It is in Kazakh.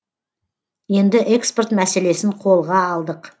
енді экспорт мәселесін қолға алдық